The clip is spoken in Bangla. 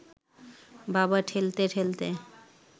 বাবা ঠেলতে ঠেলতে